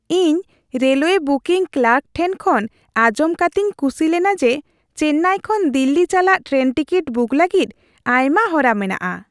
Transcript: ᱤᱧ railway booking clerk ᱴᱷᱮᱱ ᱠᱷᱚᱱ ᱟᱸᱡᱚᱢ ᱠᱟᱛᱮᱧ ᱠᱩᱥᱤ ᱞᱮᱱᱟ ᱡᱮ ᱪᱮᱱᱱᱟᱭ ᱠᱷᱚᱱ ᱫᱤᱞᱞᱤ ᱪᱟᱞᱟᱜ ᱴᱨᱮᱱ ᱴᱤᱠᱤᱴ ᱵᱩᱠ ᱞᱟᱹᱜᱤᱫ ᱟᱭᱢᱟ ᱦᱚᱨᱟ ᱢᱮᱱᱟᱜᱼᱟ ᱾